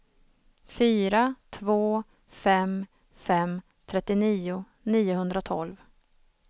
fyra två fem fem trettionio niohundratolv